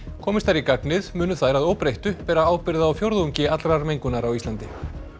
komist þær í gagnið munu þær að óbreyttu bera ábyrgð á fjórðungi allrar mengunar á Íslandi